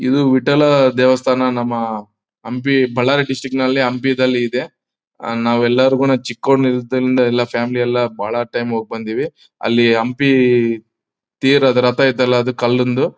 ಇದು ವಿಠ್ಠಲ ದೇವಸ್ಥಾನ ನಮ್ಮ ಹಂಪಿ ಬಳ್ಳಾರಿ ಡಿಸ್ಟ್ರಿಕ್ಟ್ ಹಂಪಿ ದಲ್ಲಿ ಇದೆ ನಾವ್ ಎಲ್ಲರಿಗೂನು ಚಿಕ್ಕೋನ್ ಇರೋದ್ರಿಂದನು ಎಲ್ಲಾ ಫ್ಯಾಮಿಲಿ ಎಲ್ಲಾ ಬಹಳ ಟೈಮ್ ಹೋಗ್ ಬಂದಿವಿ ಅಲ್ಲಿ ಹಂಪಿ ತೀರದ ರಥ ಇದೆ ಅಲ್ಲ ಅದು ಕಲ್ಲಿಂದು--